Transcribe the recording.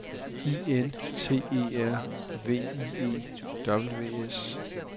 I N T E R V I E W S